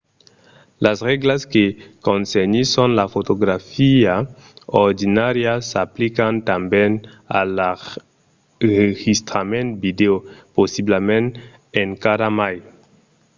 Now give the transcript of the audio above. las règlas que concernisson la fotografia ordinària s'aplican tanben a l'enregistrament vidèo possiblament encara mai